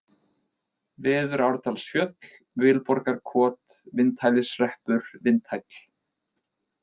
Veðurárdalsfjöll, Vilborgarkot, Vindhælishreppur, Vindhæll